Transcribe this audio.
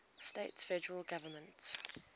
states federal government